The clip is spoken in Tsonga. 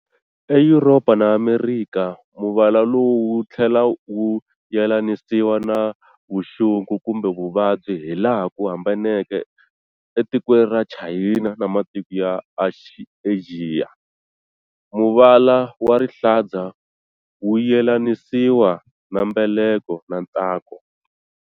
E Yuropa na Amerikha, muvala lowu wu thlela wu yelanisiwa na vuxungu kumbe vuvabyi, hilaha ku hambaneke, e tikweni ra Chayina na matiko ya Axiya, muvala wa rihlaza wu yelanisiwa na mbeleko na ntsako.